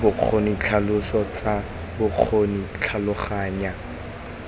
bokgoni ditlhaloso tsa bokgoni tlhaloganya